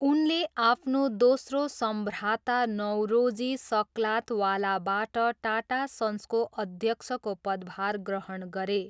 उनले आफ्नो दोस्रो सम्भ्राता नौरोजी सक्लातवालाबाट टाटा सन्सको अध्यक्षको पदभार ग्रहण गरे।